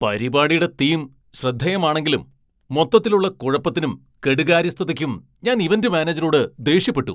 പരിപാടീടെ theme ശ്രദ്ധേയമാണെങ്കിലും മൊത്തത്തിലുള്ള കുഴപ്പത്തിനും, കെടുകാര്യസ്ഥതയ്ക്കും ഞാൻ ഇവന്റ് മാനേജരോട് ദേഷ്യപ്പെട്ടു.